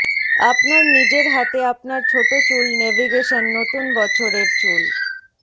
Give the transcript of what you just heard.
আপনার নিজের হাতে আপনার ছোট চুল নেভিগেশন নতুন বছর এর চুল